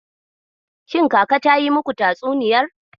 Shin Kaka ta yi muku tatsuniyar?